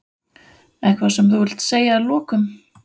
Eitthvað sem þú vilt segja að lokum?